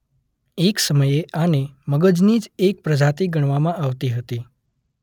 એક સમયે આને મગજની જ એક પ્રજાતી ગણાવામાં આવતી હતી.